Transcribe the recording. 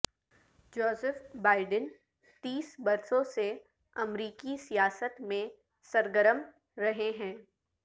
Joseph Biden تیس برسوں سے امریکی سیاست میں سرگرم رہے ہیں